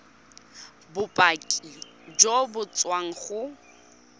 bopaki jo bo tswang go